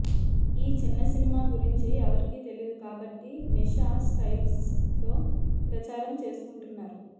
ఈ చిన్న సినిమా గురించి ఎవరికీ తెలీదు కాబట్టి నిషా స్టిల్స్తో ప్రచారం చేసుకుంటున్నారు